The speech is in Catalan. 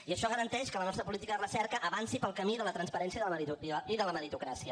i això garanteix que la nostra política de recerca avanci pel camí de la transparència i de la meritocràcia